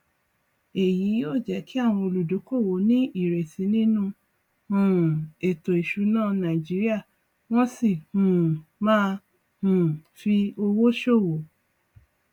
èyí yóò jẹ kí àwọn olúdókòwò ní ìrètí nínú um ètò ìsúná nàìjíríà wọn sì um má um fi owó ṣòwò